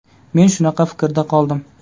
Men shunaqa fikrda qoldim.